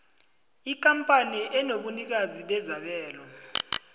ikampani enobunikazi bezabelo